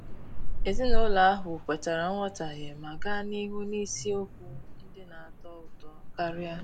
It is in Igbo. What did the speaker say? Ezinụlọ ahụ kwetara nghọtahie ma gaa n'ihu n'isiokwu ndị na-atọ ụtọ karia.